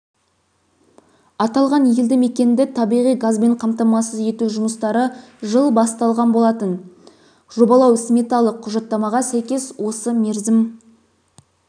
аталған елді мекенді табиғи газбен қамтамасыз ету жұмыстары жылы басталған болатын жобалау-сметалық құжаттамаға сәйкес осы мерзім